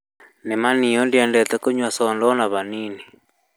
Nĩ ma niĩ ndiendete kũnyua thonda ona hanini